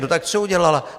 No tak co udělala?